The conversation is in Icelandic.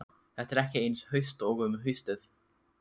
Þetta er ekki eins haust og um haustið.